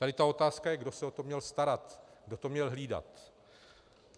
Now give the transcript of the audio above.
Tady ta otázka je, kdo se o to měl starat, kdo to měl hlídat.